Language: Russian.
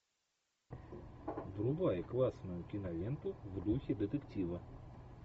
врубай классную киноленту в духе детектива